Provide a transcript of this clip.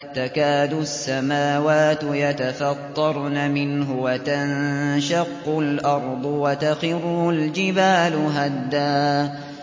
تَكَادُ السَّمَاوَاتُ يَتَفَطَّرْنَ مِنْهُ وَتَنشَقُّ الْأَرْضُ وَتَخِرُّ الْجِبَالُ هَدًّا